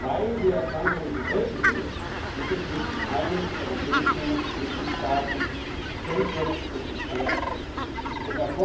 Weil die Erkrankungen so selten sind, gibt es nicht in allen europäischen Mitgliedstaaten Zentren und Experten hierfür.